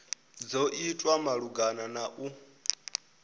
dzo itwa malugana na u